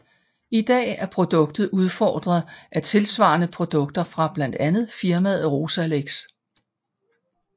I dag er produktet udfordret af tilsvarende produkter fra blandt andet firmaet Rozalex